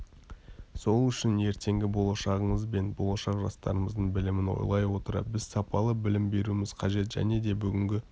сол үшін ертеңгі болашағымыз бен болашақ жастарымыздың білімін ойлай отыра біз сапалы білім беруіміз қажет және де бүгінгі